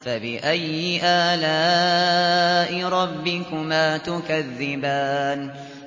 فَبِأَيِّ آلَاءِ رَبِّكُمَا تُكَذِّبَانِ